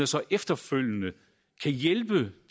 så efterfølgende hjælpe